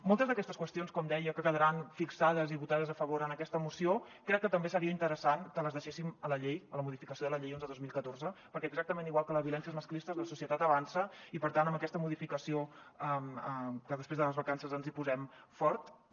moltes d’aquestes qüestions com deia que quedaran fixades i votades a favor en aquesta moció crec que també seria interessant que les deixéssim a la llei a la modificació de la llei onze dos mil catorze perquè exactament igual que les violències masclistes la societat avança i per tant amb aquesta modificació que després de les vacances ens hi posem fort